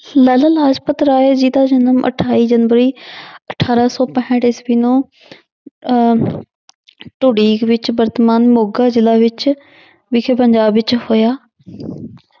ਲਾਲਾ ਲਾਜਪਤ ਰਾਏ ਜੀ ਦਾ ਜਨਮ ਅਠਾਈ ਜਨਵਰੀ ਅਠਾਰਾਂ ਸੌ ਪੈਂਹਠ ਈਸਵੀ ਨੂੰ ਅਹ ਢੁਡੀਕ ਵਿੱਚ ਵਰਤਮਾਨ ਮੋਗਾ ਜ਼ਿਲ੍ਹਾ ਵਿੱਚ ਵਿਖੇ ਪੰਜਾਬ ਵਿੱਚ ਹੋਇਆ